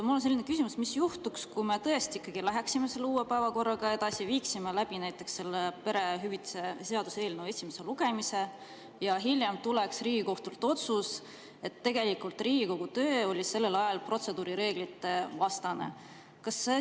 Mul on selline küsimus: mis juhtuks, kui me läheksime selle uue päevakorraga edasi, viiksime läbi perehüvitiste seaduse eelnõu esimese lugemise ja hiljem tuleks Riigikohtult otsus, et Riigikogu töö oli sellel ajal protseduurireeglitega vastuolus?